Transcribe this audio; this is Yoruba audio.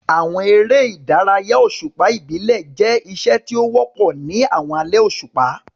Àwọn eré ìdárayá òṣùpá ìbílẹ̀ jẹ́ iṣẹ́ tí ó wọ́pọ̀ ní àwọn alẹ́ òṣùpá.